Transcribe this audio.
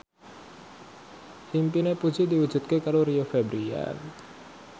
impine Puji diwujudke karo Rio Febrian